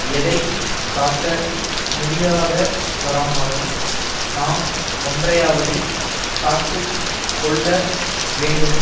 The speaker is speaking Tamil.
எதை காக்க முடியா தவரானாலும் நா ஒன்றையாவது காத்து கொள்ள வேண்டும்